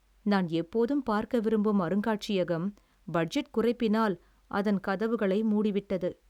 நான் எப்போதும் பார்க்க விரும்பும் அருங்காட்சியகம் பட்ஜெட் குறைப்பினால் அதன் கதவுகளை மூடிவிட்டது.